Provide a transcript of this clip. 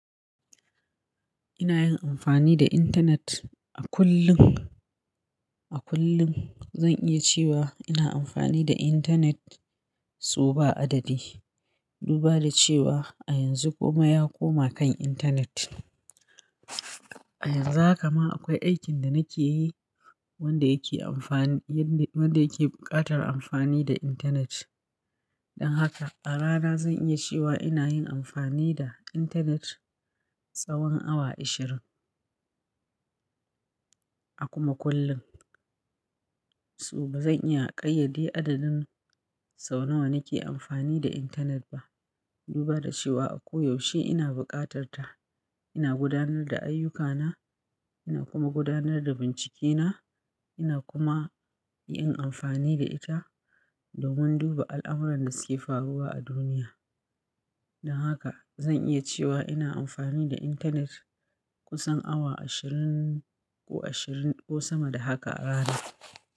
Ina yin amfani da intanet a kullum. A kullum zan iya cewa ina amfani da intanet sau ba adadi. Duba da cewa a yanzu komai ya koma kan intanet. A yanzu haka ma akwai aikin da nake yi wanda yake amfani, wanda yake buƙatar amfani da intanet. Don haka a rana zan iya cewa ina yin amfani da intanet tsawan awa ishirin a kuma kullun So ba zan iya ƙayyade adadin sau nawa nake amfani da intanet ba. Duba da cewa a koyaushe ina buƙatar ta. Ina gudanar da ayyukana, ina kuma gudanar da bincikena, ina kuma yin amfani da ita domin duba al'amuran da suke faruwa a duniya. Don haka zan iya cewa ina amfani da intanet kusan awa ashirin ko ashirin ko sama da haka a rana.